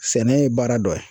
Sɛnɛ ye baara dɔ ye